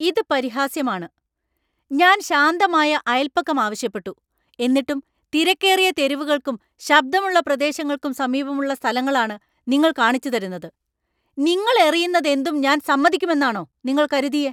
ഇത് പരിഹാസ്യമാണ്. ഞാൻ ശാന്തമായ അയൽപക്കം ആവശ്യപ്പെട്ടു, എന്നിട്ടും തിരക്കേറിയ തെരുവുകൾക്കും ശബ്ദമുള്ള പ്രദേശങ്ങൾക്കും സമീപമുള്ള സ്ഥലങ്ങളാണ് നിങ്ങള്‍ കാണിച്ചുതരുന്നത്. നിങ്ങൾ എറിയുന്നതെന്തും ഞാൻ സമ്മതിക്കുമെന്നാണോ നിങ്ങൾ കരുതിയെ?